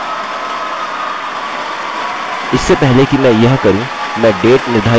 इससे पहले कि मैं यह करूँ मैं date निर्धारित करने जा रहा हूँ अब यह डेट फंक्शन इस्तेमाल कर रहा है